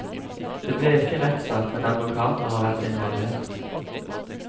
Det ble ikke rettssak, men advokater har vært involvert.